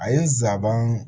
A ye nsaban